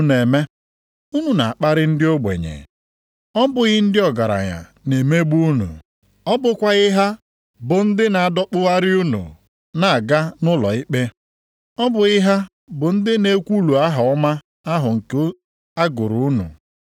Ma gịnị ka unu na-eme? Unu na-akparị ndị ogbenye! Ọ bụghị ndị ọgaranya na-emegbu unu? Ọ bụkwaghị ha bụ ndị na-adọkpụgharị unu aga nʼụlọikpe?